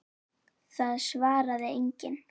Það svaraði enginn.